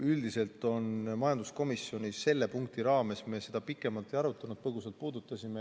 Üldiselt on nii, et majanduskomisjonis selle punkti raames me seda pikemalt ei arutanud, ainult põgusalt puudutasime.